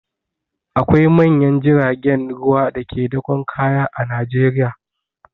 Akwai manyan jiragen ruwa da ke dakon kaya a Najeriya.